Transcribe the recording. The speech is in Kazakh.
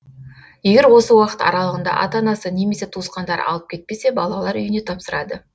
егер осы уақыт аралығында ата анасы немесе туысқандары алып кетпесе балалар үйіне тапсырады